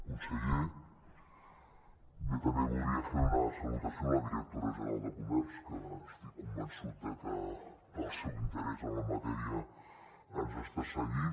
conseller bé també voldria fer una salutació a la directora general de comerç que estic convençut de que pel seu interès en la matèria ens està seguint